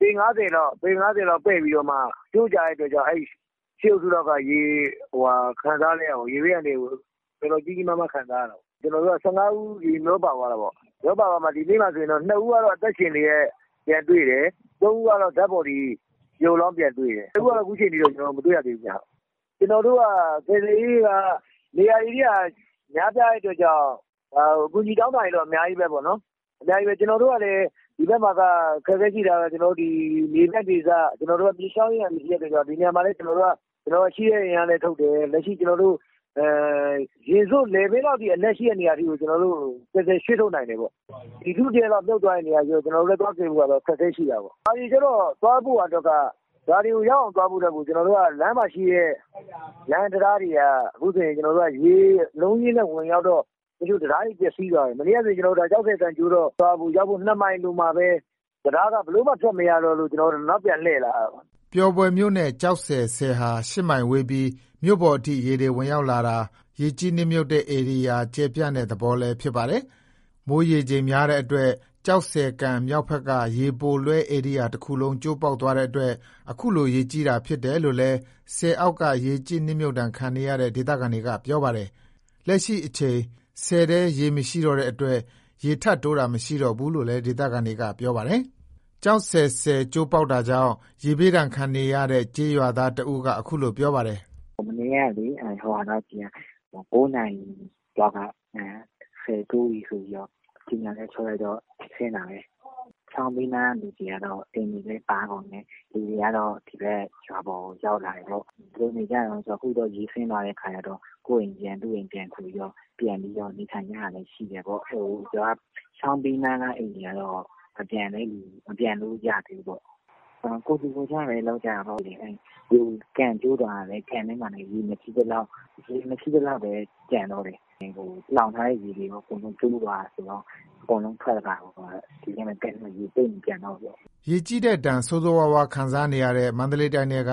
ပေ ၅၀ လောက် ပဲ့ပြီးတော့ ကျိုးကျတဲ့ အတွက်ကြောင့် ၈ အုပ်စုက ရေဘေးအန္တရာယ်ကို ကြီးကြီးမားမား ခံစားနေရတယ်။ ၁၅ ဦး ရေမျောပါသွားတာပေါ့။ ဒီနေ့မှာ ၂ ဦးက အသက်ရှင်လျက် ပြန်တွေ့တယ်။ ၃ ဦးက သေဆုံးလျက်တွေ့တယ်။ ၁၀ ဦးကတော့ အခုချိန်ထိ ပြန်မတွေ့ရသေးဘူးခင်ဗျ။ ကယ်ဆယ်ရေးက နေရာဧရိယာ များပြားတဲ့အတွက်ကြောင့် အကူညီတောင်းတာတွေတော့ အများကြီးပဲ။ ဒီဘက်မှာက မြေပြန့်ဒေသ မြစ်ချောင်းအင်းအိုင် ရှိတဲ့အတွက် ဒီဘက်မှာ ကျွန်တော်တို့ရှိတဲ့ အင်အားနဲ့ထုတ်တယ်။ ရင်စို့ လည်ပင်းလောက်ရှိတဲ့နေရာတွေကို ကျွန်တော် ရှင်းထုတ်နိုင်တယ်ပေါ့။ လူ့တရပ်လောက် မြှုပ်သွားတဲ့နေရာတွေဆို ကျွန်တော်တို့က အခက်အခဲရှိတာပေါ့။ ရွာတွေကိုရောက်အောင်သွားဖို့အတွက်ကို လမ်းမှာရှိတဲ့ လမ်းတံတားတွေက အခုချိန် ရေအလုံးအရင်းနဲ့ ဝင်ရောက်တော့ တချို့တံတားတွေ ပျက်စီးသွားတယ်။ တချို့နေရာတွေ ကျောက်ဆည်ကန် ကျိုးတော့ ရွာကိုရောက်ဖို့ ၂ မိုင်အလိုမှာပဲ တံတားက ဘယ်လိုမှ ထွက်မရတော့လို့ နောက်ပြန်လှည့်လာရတယ်။" ပျော်ဘွယ်မြို့နဲ့ ကျောက်ဆည် ဆည်ဟာ ၈ မိုင်ဝေးပြီး မြို့ပေါ်အထိ ရေတွေဝင်ရောက်တာဟာ ရေကြီး နှစ်မြှုပ်တဲ့ ဧရိယာ ကျယ်ပြန့်တဲ့ သဘောလည်း ဖြစ်ပါတယ်။ မိုးရေချိန်များတဲ့အတွက် ကျောက်ဆည်ကန် မြောက်ဖက်က ရေပိုလွှဲ ဧရိယာ တခုလုံး ကျိုးပေါက်သွားတဲ့အတွက် အခုလို ရေကြီတာဖြစ်တယ်လို့ ဆည်အောက်က ရေကြီးနစ်မြှုပ်ဒဏ်ခံနေရတဲ့ ဒေသခံတွေက ပြောပါတယ်။ လက်ရှိအချိန် ဆည်ထဲ ရေမရှိတော့တဲ့အတွက် ရေထပ်တိုးတာမရှိတော့ဘူးလို့လည်း ဒေသခံတွေက ပြောပါတယ်။ ကျောက်ဆည် ဆည်ကျိုးပေါက်တာကြောင့် ရေဘေးဒဏ်ခံနေရတဲ့ ကျေးရွာသား တဦးက အခုလို ပြောပါတယ်။ "မနေ့က ၉ နာရီလောက်ကတည်းက ဆည်ကျိုးပြီဆိုပြီး ရေတွေဆင်းလာတာပဲ။ ချောင်းဘေးနားကလူတွေက အိမ်တွေပါကုန်တယ်။ လူတွေကတော့ ဒီဘက် ရွာပေါ်ကို ရောက်လာတယ်ပေါ့။ ဘယ်လိုနေကြလဲဆိုတော့ ရေကျသွားတော့ ကိုယ့်အိမ်ပြန်၊ သူ့အိမ်ပြန်၊ ပြန်ပြီးတော့ နေထိုင်ကြတာလည်း ရှိတယ်ပေါ့။ ချောင်းဘေးနားကလူတွေက ပြန်လို့မရသေးဘူးပေါ့။ ကိုယ်ထူကိုယ်ထပဲ လုပ်ကြတာပေါ့။ ကန် ကျိုးသွားတော့ ကျန်ထဲမှာရေ မရှိသလောက်ပဲ ကျန်တော့တယ်။ လှောင်ထားတဲ့ရေတွေလည်း ကျိုးသွားတယ်ဆိုတော့ အကုန်လုံးထွက်တာပေါ့။ ဒီအတိုင်း ကန်ထဲရေသိပ်မကျန်တော့ဘူးပေါ့။" ရေကြီးတဲ့ဒဏ် ဆိုးဆိုးရွားရွား ခံစားနေရတဲ့ မန္တလေးတိုင်းထဲက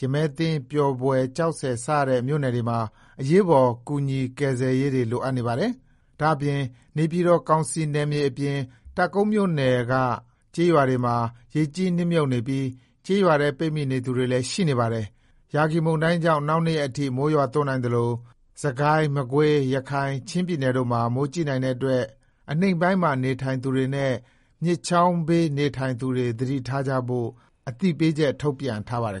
ရမည်းသင်း ၊ ပျော်ဘွယ် ၊ ကျောက်ဆည် စတဲ့မြို့နယ်တွေမှာ အရေးပေါ် ကူညီကယ်ဆယ်ရေးတွေ လိုအပ်နေပါတယ်။ ဒါ့အပြင်နေပြည်တော်ကောင်စီနယ်မြေအပြင် တပ်ကုန်းမြို့နယ်တွေက ကျေးရွာတွေမှာ ရေကြီးနစ်မြှုပ်နေပြီး ကျေးရွာထဲ ပိတ်မိနေသူတွေလည်း ရှိနေပါတယ်။ ယာဂီမုန်တိုင်းကြောင့် နောက် ၂ ရက်အထိ မိုးရွာသွန်းနိုင်သလို စစ်ကိုင်း၊ မကွေး၊ ရခိုင်၊ ချင်းပြည်နယ်တို့မှာ မိုးကြီးနိုင်တဲ့အတွက် အနိမ့်ပိုင်းမှာ နေထိုင်သူတွေနဲ့ မြစ်ချောင်းဘေးနေထိုင်သူတွေ သတိထားကြဖို့ အသိပေး ထုတ်ပြန်ထားပါတယ်